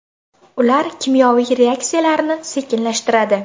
Ular kimyoviy reaksiyalarni sekinlashtiradi.